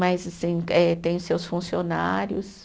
Mas assim eh, tem os seus funcionários.